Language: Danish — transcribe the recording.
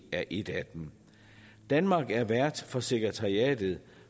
er et af dem danmark er vært for sekretariatet